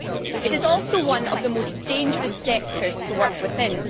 It is also one of the most dangerous sectors to work within.